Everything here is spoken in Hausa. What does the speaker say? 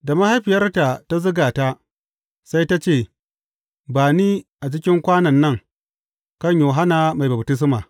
Da mahaifiyarta ta zuga ta, sai ta ce, Ba ni a cikin kwanon nan, kan Yohanna Mai Baftisma.